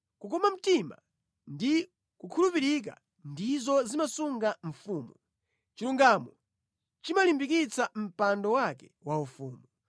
Kukoma mtima ndi kukhulupirika ndizo zimasunga mfumu; chilungamo chimalimbikitsa mpando wake waufumu.